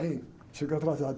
Ei, chegou atrasado.